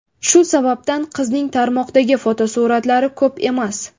Shu sababdan qizining tarmoqdagi fotosuratlari ko‘p emas.